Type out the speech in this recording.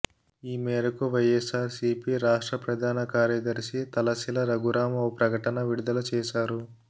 ఈ మేరకు వైఎస్సార్సీపి రాష్ట్ర ప్రధాన కార్యదర్శి తలశిల రఘురాం ఓ ప్రకటన విడుదల చేశారు